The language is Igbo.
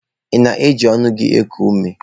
Ị na-eji ọnụ gị eku ume?